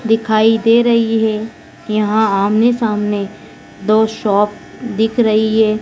दिखाई दे रही है यहां आमने सामने दो शॉप दिख रही है।